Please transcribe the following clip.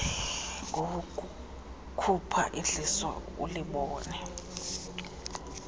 ngowokukhupha idliso ulibone